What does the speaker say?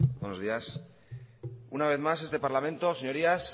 buenos días una vez más este parlamento señorías